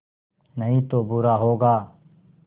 नहीं तो बुरा होगा